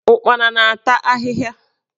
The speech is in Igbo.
Ụkpana na-ata ahịhịa.